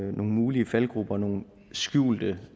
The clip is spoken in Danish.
mulige faldgruber nogle skjulte